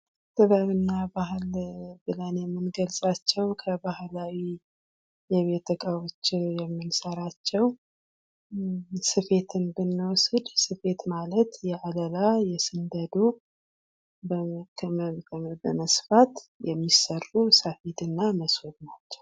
ጥበብ እና ባህል ብለን የምንገልፃቸዉ ከባህላዊ የቤት እቃዎች የምንሰራቸዉ ሶፌትን ብንወስድ ስፌድ ማለት የአለላ፣ የስንደዶ በመስፋት የሚሰሩ ሰፌድ እና ሞሶብ ናቸዉ።